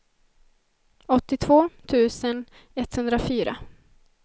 åttiotvå tusen etthundrafyra